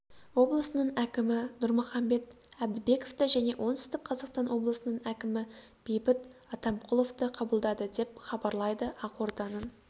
облысының әкімі нұрмұхамбет әбдібековті және оңтүстік қазақстан облысының әкімі бейбіт атамқұловты қабылдады деп хабарлайды ақорданың